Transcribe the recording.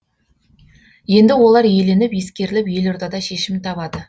енді олар еленіп ескеріліп елордада шешімін табады